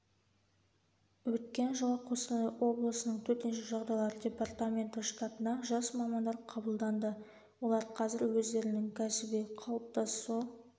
өткен жылы қостанай облысының төтенше жағдайлар департаменті штатына жас мамандар қабылданды олар қазір өздерінің кәсіби қалыптасу